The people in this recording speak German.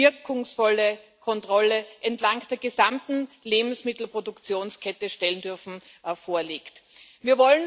wirkungsvolle Kontrolle entlang der gesamten Lebensmittelproduktionskette stellen dürfen, auch gerecht wird.